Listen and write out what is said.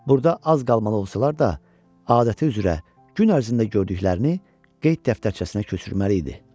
Burda az qalmalı olsalar da, adəti üzrə gün ərzində gördüklərini qeyd dəftərçəsinə köçürməli idi.